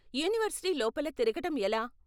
University లోపల తిరగటం ఎలా?